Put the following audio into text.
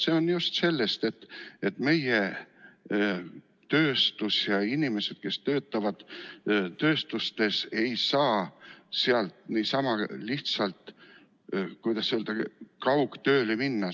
See on just sellest, et meie tööstus ja inimesed, kes töötavad tööstuses, ei saa sealt niisama lihtsalt kaugtööle minna.